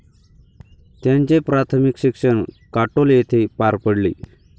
त्यांचे प्राथमिक शिक्षण काटोल येथे पार पडले.